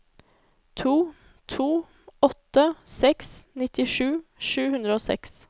to to åtte seks nittisju sju hundre og seks